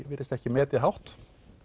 virðist ekki metið hátt